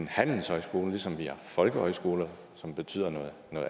handelshøjskoler ligesom vi har folkehøjskoler som betyder noget